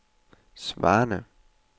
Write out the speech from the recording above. svarende